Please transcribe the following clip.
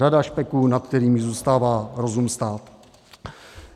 Řada špeků, nad kterými zůstává rozum stát.